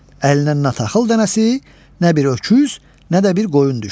Əlinə nə taxıl dənəsi, nə bir öküz, nə də bir qoyun düşdü.